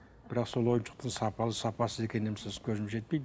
бірақ сол ойыншықтың сапалы сапасыз екеніне көзім жетпейді